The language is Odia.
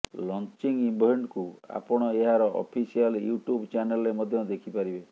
ଲଂଚିଙ୍ଗ ଇଭେଣ୍ଟକୁ ଆପଣ ଏହାର ଅଫିସିଆଲ ୟୁଟୁବ ଚ୍ୟାନେଲରେ ମଧ୍ୟ ଦେଖିପାରିବେ